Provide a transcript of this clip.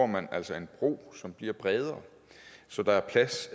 man altså en bro som bliver bredere så der er plads